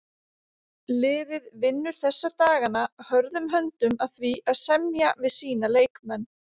Liðið vinnur þessa dagana hörðum höndum að því að semja við sína leikmenn.